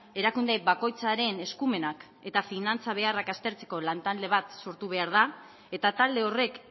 erakunde bakoitzaren eskumenak eta finantza beharrak aztertzeko lantalde bat sortu behar da eta talde horrek